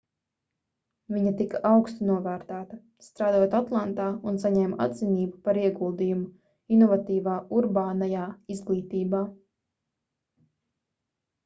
viņa tika augstu novērtēta strādājot atlantā un saņēma atzinību par ieguldījumu inovatīvā urbānajā izglītībā